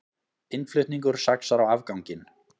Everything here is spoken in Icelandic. Innflutningur saxar á afganginn